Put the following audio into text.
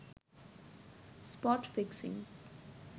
spot fixing